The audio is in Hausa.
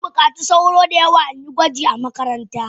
Zanbukaci sauro da yawa inyi gwaji a makaranta.